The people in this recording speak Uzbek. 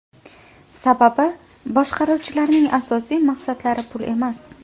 Sababi boshqaruvchilarning asosiy maqsadlari pul emas.